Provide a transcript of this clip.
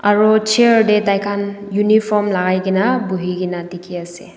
aro chair tae taikhan uniform lakaikaena buhi kaena dikhiase.